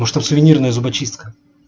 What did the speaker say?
может там сувенирная зубочистка